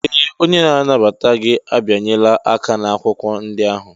Ee! Onye na-anabata gị abịanyela aka n'akwụkwọ ndị ahụ.